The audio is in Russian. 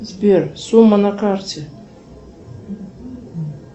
сбер сумма на карте